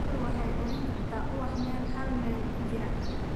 Shinnidu waxay urin kartaa ubax meel hal mayl u jirta.